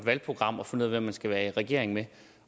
valgprogram og finde ud af hvem man skal være i regering med